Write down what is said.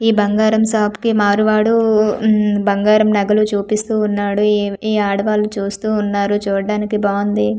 ఈ బంగారం షాప్ కి మారువాడు మ్మ్ బంగారం నగలు చూపిస్తూ ఉన్నాడు ఈ ఆడవాళ్లు చూస్తూ ఉన్నారు చూడ్డానికి బాంది .